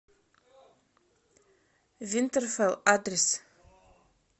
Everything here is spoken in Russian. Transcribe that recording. винтерфелл адрес